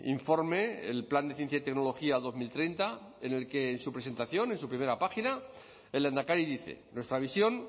informe el plan de ciencia y tecnología dos mil treinta en el que en su presentación en su primera página el lehendakari dice nuestra visión